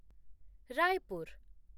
Raipur